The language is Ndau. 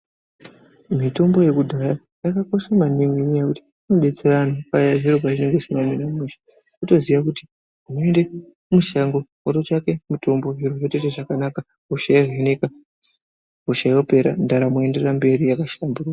Mitombo yekudhaya yakakosha maningi ngenyaya yekuti inobetsera anhu paya zviro pazvinenge zvisina kumire mushe wotoziya kuti woende mushango wototsvake mitombo zviro zvotoita zvakanaka hosha yovhenekwa hosha yopera ndaramo yoenderera mberi yakashamburuka.